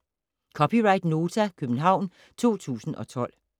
(c) Nota, København 2012